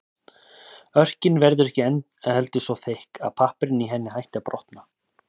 Örkin verður ekki heldur svo þykk að pappírinn í henni hætti að brotna.